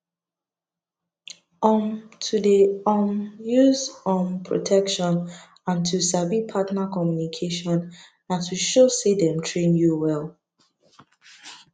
um to dey um use um protection and to sabi partner communication na to show say dem train you well